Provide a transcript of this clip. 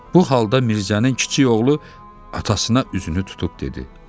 Bu halda Mirzənin kiçik oğlu atasına üzünü tutub dedi: